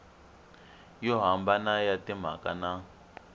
yo hambana ya timhaka na